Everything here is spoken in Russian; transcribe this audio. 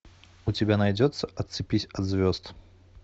у тебя найдется отцепись от звезд